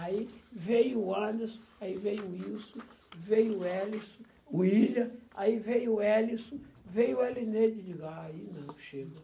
Aí veio o Anderson, aí veio o Wilson, veio o Welissom, o William, aí veio o Welissom, veio o Elineide, aí eu digo, aí não, chega.